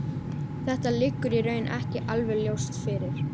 Þetta liggur í raun ekki alveg ljóst fyrir.